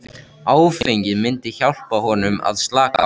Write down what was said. Áfengið myndi hjálpa honum að slaka á.